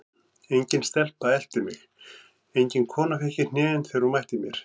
Engin stelpa elti mig, engin kona fékk í hnén þegar hún mætti mér.